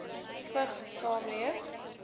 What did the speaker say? vigs saamleef